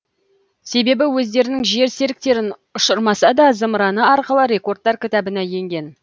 себебі өздерінің жер серіктерін ұшырмаса да зымыраны арқылы рекордтар кітабына енген